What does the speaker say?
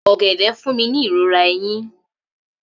Ogede fun mi ni irora eyin.